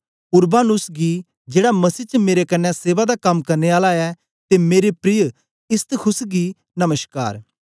Urbanus गी जेड़ा मसीह च मेरे कन्ने सेवा दा कम करने आला ऐ ते मेरे प्रिय इस्तखुस गी नमश्कार